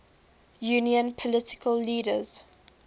union political leaders